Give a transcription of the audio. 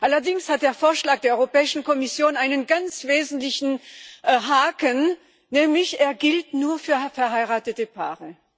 Allerdings hat der Vorschlag der Europäischen Kommission einen ganz wesentlichen Haken, nämlich Er gilt nur für verheiratete Paare.